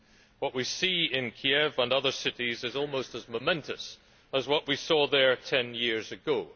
What we see in Kiev and other cities is almost as momentous as what we saw there ten years ago.